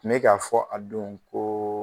Ne k'a fɔ a don koo